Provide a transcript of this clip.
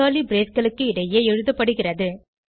curly braceகளுக்கிடையே எழுதப்படுகிறது